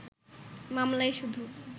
মামলায় শুধু